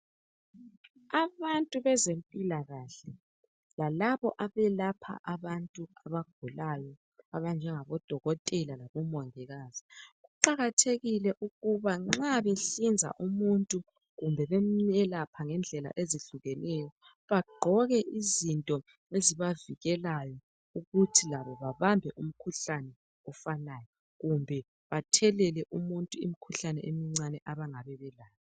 Abantu bezempilakahle lalabo abelapha abantu abagulayo abanjengabo odokotela labomongikazi kuqakathekile ukuba nxa behlinza umuntu kumbe bemelapha ngendlela ezihlukeneyo bagqoke izinto ezibavikelayo ukuze labo bengabambi umkhuhlane ofanayo kumbe bathelele umuntu imkhuhlane emncane abangaba belayo